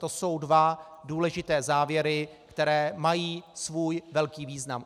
To jsou dva důležité závěry, které mají svůj velký význam.